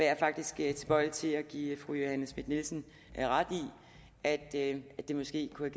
jeg faktisk er tilbøjelig til at give fru johanne schmidt nielsen ret i at det det måske kunne